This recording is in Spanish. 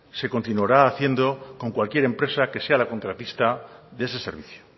se continuará haciendo con cualquier empresa que sea la contratista de ese servicio